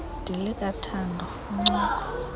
dilika thando incoko